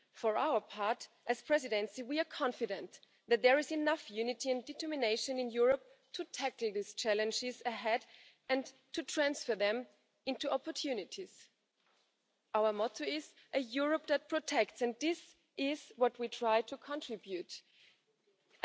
Frau Präsidentin, sehr geehrter Herr Kommissionspräsident, geschätzte Kolleginnen und Kollegen! Präsident Juncker hat es treffend dargestellt Die Europäische Union steht heute politisch, wirtschaftlich und sozial viel, viel besser da, als das von vielen Menschen wahrgenommen wird.